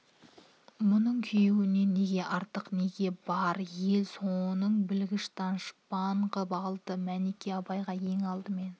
мұның күйеуінен неге артық неге бар ел соны білгіш даныш-пан ғып алды мәніке абайға ең алдымен